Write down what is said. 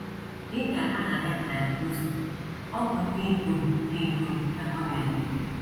Dị ka aha ya na - egosi, ọ bụ ndị ikom ndị ikom ka ọ na - eme.